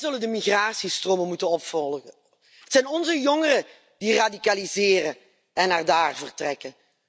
Wij zullen de migratiestromen moeten volgen. Het zijn onze jongeren die radicaliseren en naar daar vertrekken.